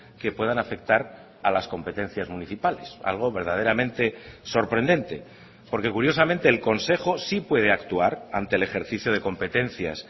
que puedan afectar a las competencias municipales algo verdaderamente sorprendente porque curiosamente el consejo sí puede actuar ante el ejercicio de competencias